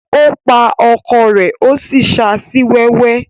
Ó pa ọkọ rẹ̀ ó sì ṣa sí wẹ́wẹ́.